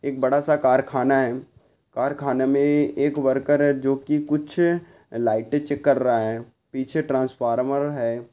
एक बड़ा सा करखाना है कारखाने मे एक वर्कर जो की कुछ लाइटे चेक कर रहा है पीछे ट्रान्स्फ़ोर्मर है।